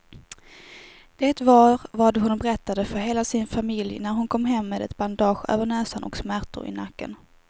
Det var vad hon berättade för hela sin familj när hon kom hem med ett bandage över näsan och smärtor i nacken.